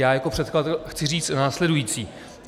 Já jako předkladatel chci říci následující.